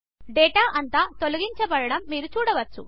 data అంతా తొలగించపడ్డం మీరు చూడవచ్చు